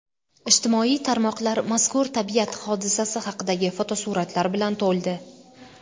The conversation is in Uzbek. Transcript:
Ijtimoiy tarmoqlar mazkur tabiat hodisasi haqidagi fotosuratlar bilan to‘ldi.